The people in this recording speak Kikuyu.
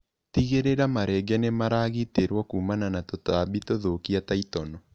Tigĩrĩra marenge nĩmaragitĩrwo kumana na tũtambi tũthũkia ta itono.